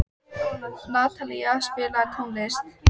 Natalie, spilaðu tónlist.